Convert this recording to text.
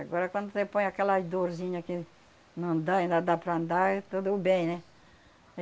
Agora quando você põe aquela dorzinha que não dá, ainda dá para andar, aí tudo bem, né?